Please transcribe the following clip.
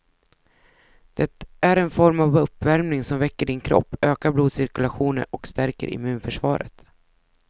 Det är en form av uppvärmning som väcker din kropp, ökar blodcirkulationen och stärker immunförsvaret.